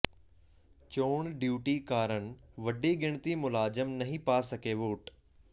ਚੋਣ ਡਿਊਟੀ ਕਾਰਨ ਵੱਡੀ ਗਿਣਤੀ ਮੁਲਾਜ਼ਮ ਨਹੀਂ ਪਾ ਸਕੇ ਵੋਟ